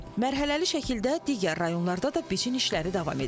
Mərhələli şəkildə digər rayonlarda da biçin işləri davam edir.